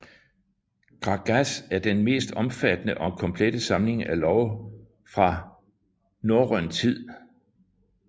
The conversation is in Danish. Grágás er den mest omfattende og komplette samling af love fra norrøn tid